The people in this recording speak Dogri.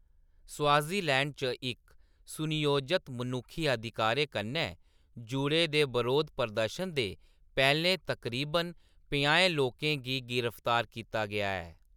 स्वाज़ीलैंड च इक सुनियोजत मनुक्खी अधिकारें कन्नै जुड़े दे बरोध प्रदर्शन दे पैह्‌‌‌लें तकरीबन पंजाहें लोकें गी गिरफ्तार कीता गेआ ऐ।